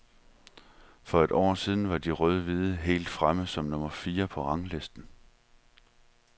For et år siden var de rødhvide helt fremme som nummer fire på ranglisten.